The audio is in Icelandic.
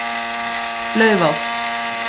Laufás